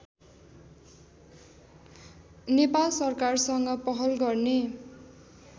नेपाल सरकारसँग पहल गर्ने